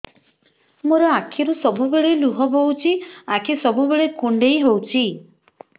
ମୋର ଆଖିରୁ ସବୁବେଳେ ଲୁହ ବୋହୁଛି ଆଖି ସବୁବେଳେ କୁଣ୍ଡେଇ ହଉଚି